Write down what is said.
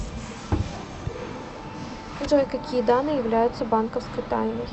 джой какие данные являются банковской тайной